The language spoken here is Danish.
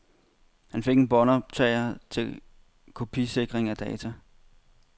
Han fik en båndoptager til kopisikring af data.